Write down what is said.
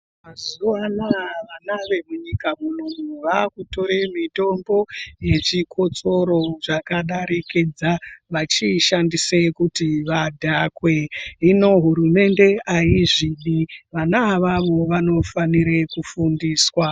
Mazuwa anaa vana vemunyika munomu vakutora mitombo yechikotsoro zvakadarikidza vachiishandise kuti vadhakwe. Hino hurumende aizvidi. Vana avavo vanofanire kufundiswa.